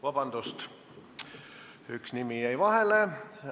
Vabandust, üks nimi jäi vahele!